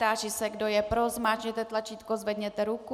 Táži se, kdo je pro, zmáčkněte tlačítko, zvedněte ruku.